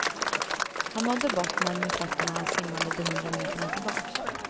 Han nådde bottnen med fötterna och han simmade de hundra meterna tillbaks.